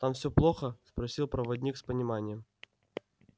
там все плохо спросил проводник с пониманием